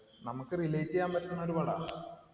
നമുക്ക് relate യ്യാൻ പറ്റണോര് പടാ.